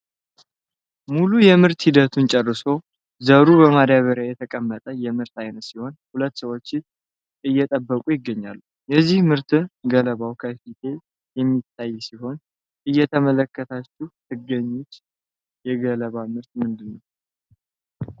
ሙሉ የምርት ሂደቱን ጨርሶ ዘሩ በማደበሪያ የተቀመጠ የምርት አይነት ሲሆን ሁለት ሰዎች እየጠበቁት ይገኛሉ ።የዚህ ምርት ገለባው ከፊቴ የሚታይ ሲሆን እየተመለከታችሁ ትገኙት የገለባ ምርት ምንድነው?